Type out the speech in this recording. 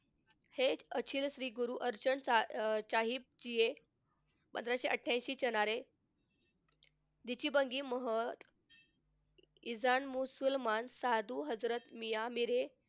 हे अचिल श्री गुरु अर्चण साहिब जी हे पंधराशे अठ्ठ्याऐंशीच्या किसान महसूल साधू हजरत मियाँ मेरे,